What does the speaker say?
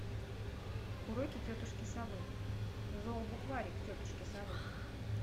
уроки тетушки совы зообукварик тетушки совы